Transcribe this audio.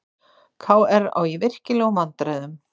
KR á í virkilegum vandræðum